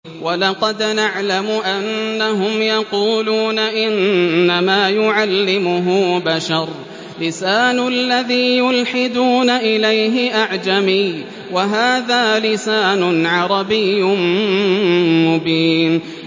وَلَقَدْ نَعْلَمُ أَنَّهُمْ يَقُولُونَ إِنَّمَا يُعَلِّمُهُ بَشَرٌ ۗ لِّسَانُ الَّذِي يُلْحِدُونَ إِلَيْهِ أَعْجَمِيٌّ وَهَٰذَا لِسَانٌ عَرَبِيٌّ مُّبِينٌ